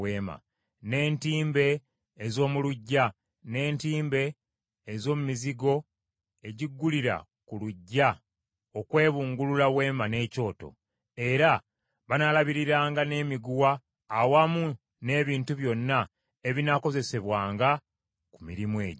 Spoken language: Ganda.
n’entimbe ez’omu luggya, n’entimbe ez’omu mizigo egiggulira ku luggya okwebungulula Weema n’ekyoto. Era banaalabiriranga n’emiguwa awamu n’ebintu byonna ebinaakozesebwanga ku mirimu egyo.